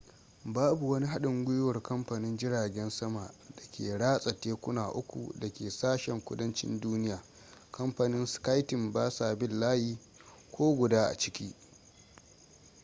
babu wani haɗin gwiwar kamfanin jiragen sama da ke ratsa tekuna uku da ke sashen kudancin duniya kamfanin sky team basa bin layi ko guda a ciki